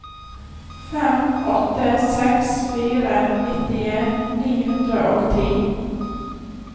fem åtte seks fire nittien ni hundre og ti